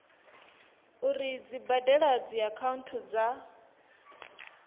uri dzi badela dziakhaunthu dza